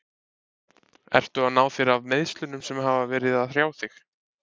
Ertu að ná þér af meiðslunum sem hafa verið að hrjá þig?